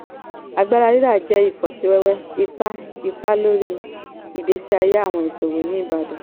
agbára rírà jẹ́ ifọsíwẹ́wẹ́ ipá ipá lórí ìgbésí ayé àwọn iṣòwò ní ìbàdàn.